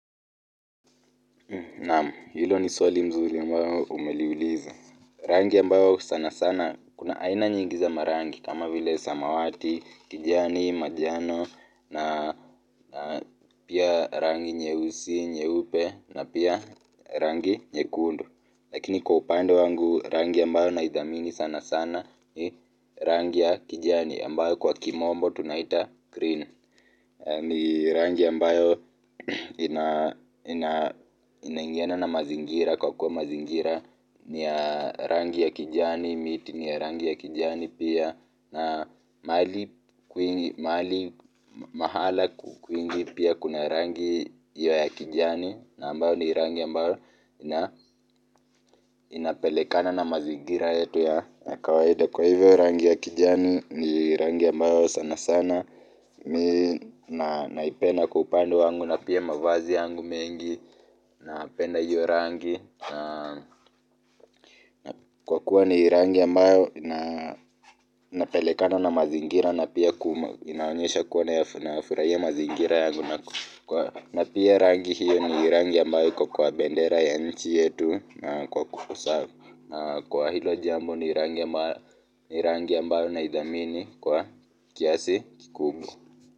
Naam, hilo ni swali mzuli ambao umeliuliza. Rangi ambayo sana sana, kuna aina nyingi za marangi kama vile samawati, kijani, majano, na pia rangi nyeusi, nyeupe, na pia rangi nyekundu. Lakini kwa upando wangu, rangi ambayo naidhamini sana sana, ni rangi ya kijani ambayo kwa kimombo tunaita green. Ni rangi ambayo inaingiana na mazingira kwa kuwa mazingira ni rangi ya kijani, miti ni rangi ya kijani pia na mahali kwingi pia kuna rangi ya kijani. Na ambayo ni rangi ambayo inapelekana na mazingira yetu ya kawaida kwa hivyo rangi ya kijani ni rangi ambayo sana sana mi naipenda kwa upande wangu na pia mavazi yangu mengi napenda hiyo rangi kwa kuwa ni rangi ambayo inapelekana na mazingira na pia inaonyesha kuwa na nayafurahia mazingira yangu na pia rangi hiyo ni rangi ambayo iko kwa bendera ya nchi yetu kwa hilo jambo ni rangi ambayo naidhamini kwa kiasi kikubwa.